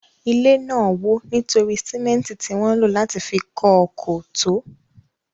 Ilé náà wò nítorí símẹ́ntì tí wọn lò láti fi kọ́ ọ kò tó.